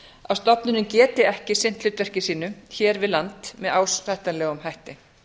að stofnunin geti ekki sinnt hlutverki sínu hér við land með ásættanlegum hætti